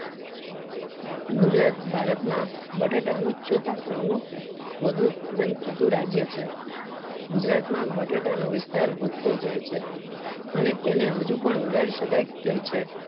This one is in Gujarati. ગુજરાત ભારત માં બટેટા ના ચોથા ક્રમ નું વધુ ઉત્પાદન કરતુ રાજ્ય છે ગુજરાત માં બટેટા નો વિસ્તાર વધતો જાય છે અને તેને હજુ પણ વધારી શકાય તેમ છે